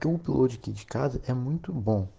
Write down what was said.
логистик